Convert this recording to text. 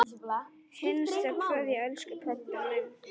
HINSTA KVEÐJA Elsku pabbi minn.